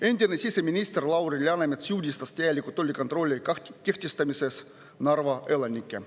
Endine siseminister Lauri Läänemets süüdistas täielikult tollikontrolli kehtestamises Narva elanikke.